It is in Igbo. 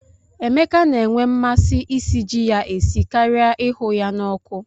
Emeka na-enwe mmasị isi ji ya esi karia ịhụ ya na ọkụ.